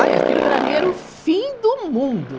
Ai, aquilo para mim era o fim do mundo.